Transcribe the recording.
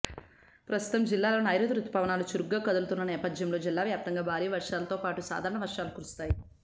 ప్రస్తుతం జిల్లాలో నైరుతి రుతుపవనాలు చురుకుగా కదులుతున్న నేపథ్యంలో జిల్లా వ్యాప్తంగా భారీ వర్షాలతో పాటు సాధారణ వర్షాలు కురుస్తున్నాయి